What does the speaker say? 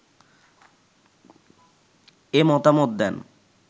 এ মতামত দেন